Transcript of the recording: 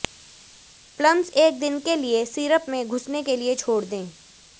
plums एक दिन के लिए सिरप में घुसने के लिए छोड़ दें